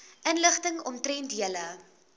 inligting omtrent julle